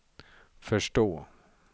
förstå